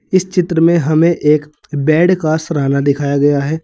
इस चित्र में हमें एक बेड का सिराना दिखाया गया है।